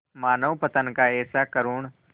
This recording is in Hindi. मानवपतन का ऐसा करुण